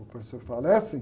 O professor fala, é sim